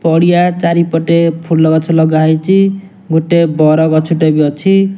ପଡିଆ ଚାରିପଟେ ଫୁଲ ଗଛ ଲଗା ହେଇଚି ଗୁଟେ ବର ଗଛ ଟେ ବି ଅଛି।